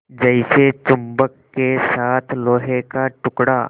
जैसे चुम्बक के साथ लोहे का टुकड़ा